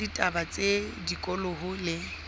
la ditaba tsa tikoloho le